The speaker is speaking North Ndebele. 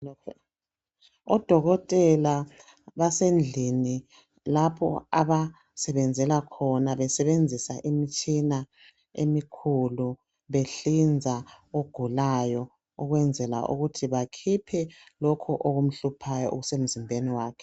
Odokotela basendlini lapho abasebenzela khona besebenzisa imitshina emikhulu behlinza ogulayo ukwenzela ukuthi bakhiphe lokhu okumhluphayo okusemzimbeni wakhe.